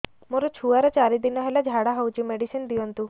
ମୋର ଛୁଆର ଚାରି ଦିନ ହେଲା ଝାଡା ହଉଚି ମେଡିସିନ ଦିଅନ୍ତୁ